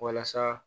Walasa